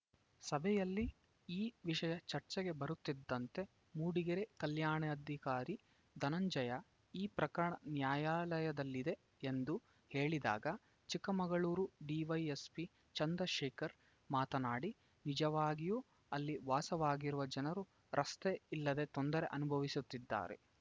ಸಭೆಯಲ್ಲಿ ಈ ವಿಷಯ ಚರ್ಚೆಗೆ ಬರುತ್ತಿದ್ದಂತೆ ಮೂಡಿಗೆರೆ ಕಲ್ಯಾಣಾಧಿಕಾರಿ ಧನಂಜಯ ಈ ಪ್ರಕರಣ ನ್ಯಾಯಾಲಯದಲ್ಲಿದೆ ಎಂದು ಹೇಳಿದಾಗ ಚಿಕ್ಕಮಗಳೂರು ಡಿವೈಎಸ್ಪಿ ಚಂದ್ರಶೇಖರ್‌ ಮಾತನಾಡಿ ನಿಜವಾಗಿಯೂ ಅಲ್ಲಿ ವಾಸವಾಗಿರುವ ಜನರು ರಸ್ತೆ ಇಲ್ಲದೆ ತೊಂದರೆ ಅನುಭವಿಸುತ್ತಿದ್ದಾರೆ